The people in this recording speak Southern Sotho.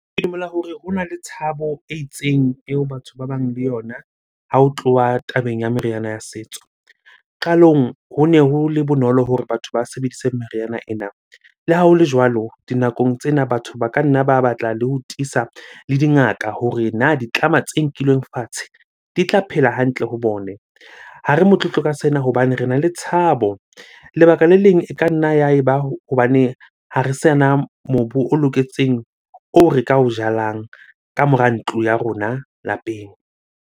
Ke dumela hore hona le tshabo e itseng eo batho ba bang le yona ha ho tloha tabeng ya meriana ya setso. Qalong hone ho le bonolo hore batho ba sebedise meriana ena. Le ha hole jwalo, dinakong tsena batho ba ka nna ba batla le ho tiisa le dingaka hore na ditlama tse nkilweng fatshe di tla phela hantle ho bone? Ha re motlotlo ka sena hobane rena le tshabo. Lebaka le leng e ka nna ya eba hobaneng ha re sana mobu o loketseng oo re ka o jalang ka mora ntlo ya rona lapeng.